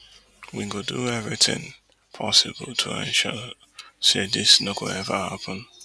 we go do eviritin possible to ensure say dis no go ever happun